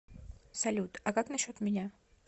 салют а как насчет меня